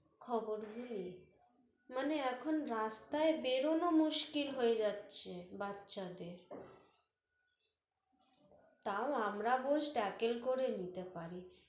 খবর মানে এখন রাস্তায় বেরোনো মুসকিল হয়ে যাচ্ছে বাচ্ছাদের তাও আমরা বোস দাখিল করে নিতে পারি